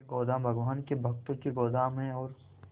ये गोदाम भगवान के भक्तों के गोदाम है और